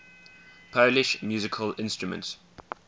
polish musical instruments